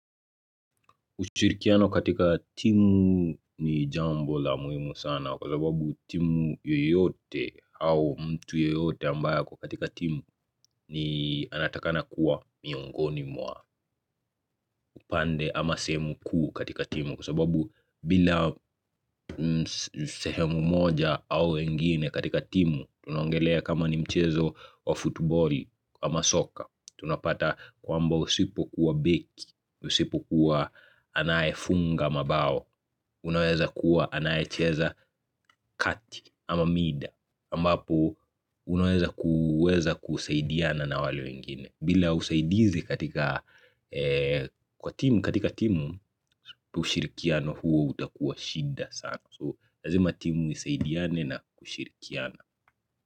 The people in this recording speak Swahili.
Ushirikiano katika timu ni jambo la muhimu sana kwa sababu timu yoyote au mtu yeyote ambaye ako katika timu ni, anatakana kuwa miongoni mwa upande ama sehemu kuu katika timu kwa sababu bila sehemu moja au wengine katika timu tunongelea kama ni mchezo wa futboli ama soka tunapata kwamba usipokuwa beki, usipokuwa anaye funga mabao Unaweza kuwa anayecheza kati ama mid, ambapo unaweza kuweza kusaidiana na wale wengine. Bila usaidizi kwa timu, katika timu ushirikiano huo utakuwa shida sana. So lazima timu isaidiane na kushirikiana.